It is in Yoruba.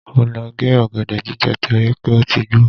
Mo lọ gé ọ̀gẹ̀dẹ̀ jíjẹ torí pé ó ti gbó.